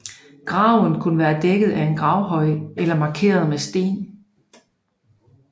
Graven kunne være dækket af en gravhøj eller markeret med sten